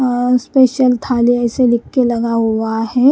अ special थाली ऐसे लिख के लगा हुआ है।